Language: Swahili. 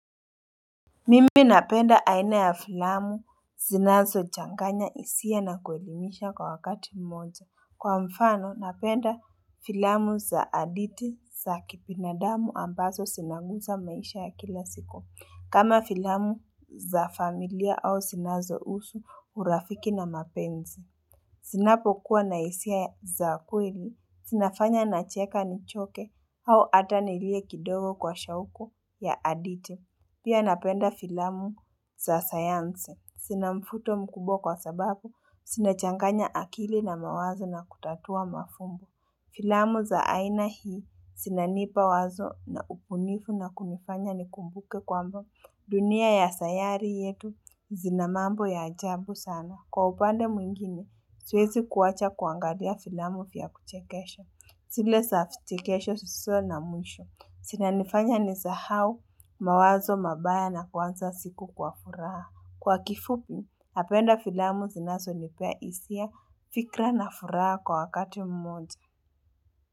Mimi napenda aina ya filamu zinazochanganya hisia na kuelimisha kwa wakati mmoja. Kwa mfano napenda filamu za hadithi za kibinadamu ambazo zinaguza maisha ya kila siku. Kama filamu za familia au zinazohusu urafiki na mapenzi. Zinapokuwa na hisia za kweli. Zinafanya nacheka nichoke au hata nilie kidogo kwa shauku ya hadithi. Pia napenda filamu za sayansi. Zina mvuto mkubwa kwa sababu zinachanganya akili na mawazo na kutatua mafumbo. Filamu za aina hii zinanipa wazo na ubunifu na kunifanya nikumbuke kwamba dunia ya sayari yetu zina mambo ya ajabu sana. Kwa upande mwingine, siwezi kuwacha kuangalia filamu vya kuchekesha. Zile za vichekesho na mwisho. Zinanifanya nisahau mawazo mabaya na kuanza siku kwa furaha. Kwa kifupi, napenda filamu zinazonipea hisia, fikra na furaha kwa wakati mmoja.